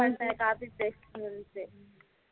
பண்ணுறேன் copy paste